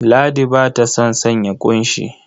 Ladi ba ta son sanya ƙunshi.